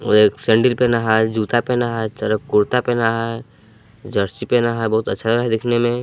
वो एक सेंडिल पहना है जूता पहना है चलो कुर्ता पहना है जर्सी पहना है बहुत अच्छा है दिखने में।